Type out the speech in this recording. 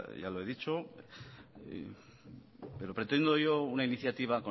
ya lo he dicho pero pretendo yo una iniciativa